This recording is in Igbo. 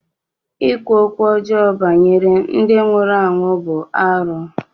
Ịkwu okwu ọjọọ banyere ndị nwụrụ anwụ bụ arụ.